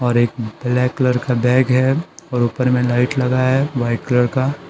और एक black colour का बैग है और ऊपर में लाइट लगा है वाइट कलर का।